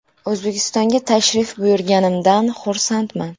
O‘zbekistonga tashrif buyurganimdan xursandman.